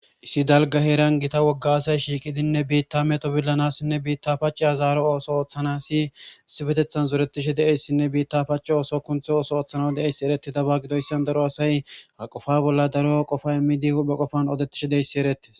issi dalga heeran gita wogga asay shiiqidinne biitta meto billanassinne biitta paciha zaaro ooso ooththana si sifetethan zoretishe deeyssinne biitta paci ooso kunthe ooso ooththana de7eyss ereti daba gidoyssan daro asay ha qofa bolla daro qofa immidi hudhhe qofan odettishe deeyssi erettis